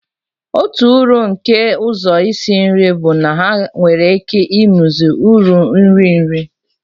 Otu uru nke ụzọ isi nri bụ na ha nwere ike imezi uru nri nri.